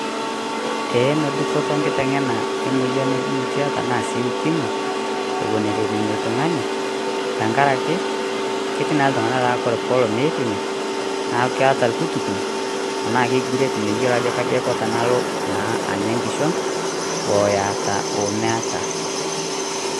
Eeh nodupoto nkiteng' tanaa emoyian e biitia tanaa ukimwi ewuen etupimi ltung'ani. Teng'araki ketii naa ltung'ana naaa kore poloo pee ipimi naa keeta lputukuny' tana kekureet meiyelo ajo eko tanaloo naa enyaa nkishon oeyaata omeata.